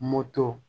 Moto